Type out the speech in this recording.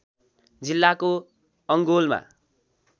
जिल्लाको अङगोलमा।